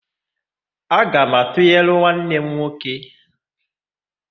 Aga m atụnyere nwanne m nwoke.